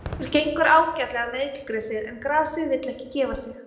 Okkur gengur ágætlega með illgresið, en grasið vill ekki gefa sig.